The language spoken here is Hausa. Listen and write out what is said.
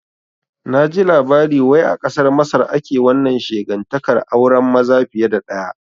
Naji labari wai a kasar Masar ake wannan shegantaƙar auren maza fiye da ɗaya